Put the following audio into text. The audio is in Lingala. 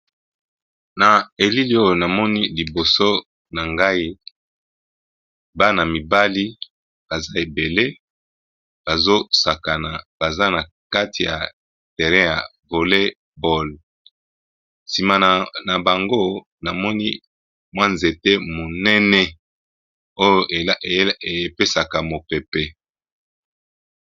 Na elili oyo namoni liboso na ngai bana mibali baza ebele bazosakana baza na kati ya terrein ya voley boall, nsima na bango namoni mwa nzete monene oyo epesaka mopepe.